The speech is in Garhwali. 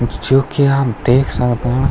जो की आप देख सकण।